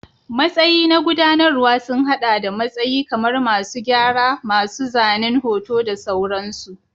Matsayi na gudanarwa sun haɗa da matsayi kamar masu gyara, masu zanen hoto da sauransu.